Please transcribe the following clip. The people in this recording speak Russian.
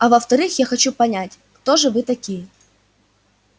а во-вторых я хочу понять кто же вы такие